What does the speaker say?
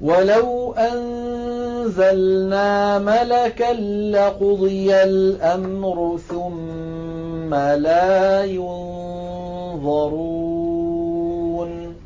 وَلَوْ أَنزَلْنَا مَلَكًا لَّقُضِيَ الْأَمْرُ ثُمَّ لَا يُنظَرُونَ